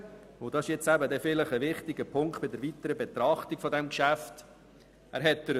Die Einführung von Regionalkonferenzen war und ist freiwillig.